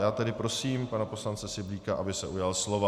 Já tedy prosím pana poslance Syblíka, aby se ujal slova.